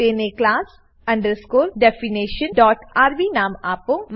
તેને class definitionrb નામ આપો